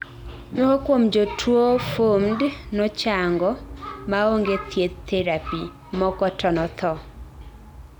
moko kuom jotuwo FUMHD nochango maonge thieth therapy, moko to nothoo